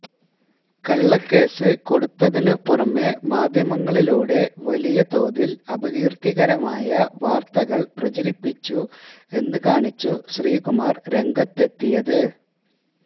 കള്ളക്കേസ് കൊടുത്തതിനു പുറമെ മാധ്യമങ്ങളിലൂടെ വലിയ തോതിൽ അപകീർത്തികരമായ വാർത്തകൾ പ്രചരിപ്പിച്ചു എന്നു കാണിച്ചു ശ്രീകുമാർ രംഗത്തെത്തിയത്